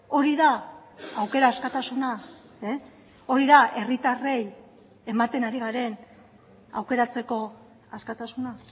hori da aukera askatasuna hori da herritarrei ematen ari garen aukeratzeko askatasuna